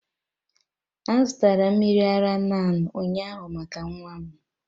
A zụtara m mmiri ara NAN ụnyaahụ maka nwa m.